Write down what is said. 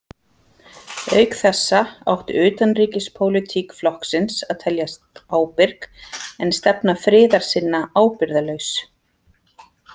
Auk þessa átti utanríkispólitík flokksins að teljast ábyrg en stefna friðarsinna ábyrgðarlaus.